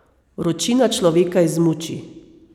Vročina človeka izmuči.